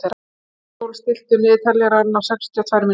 Álfsól, stilltu niðurteljara á sextíu og tvær mínútur.